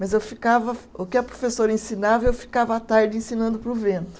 Mas eu ficava, o que a professora ensinava, eu ficava à tarde ensinando para o vento.